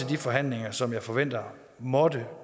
de forhandlinger som jeg forventer må